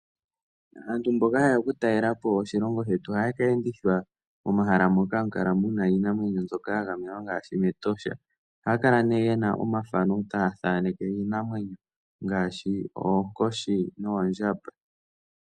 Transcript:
Aantu mboka haye ya oku talela po oshilongo shetu ohaye keendithwa momahala moka hamu kala muna iinamwenyo mbyoka ya gamenwa ngaashi mEtosha. Ohaya kala nee yena omafano taya thaaneke iinamwenyo ngaashi oonkoshi noondjamba.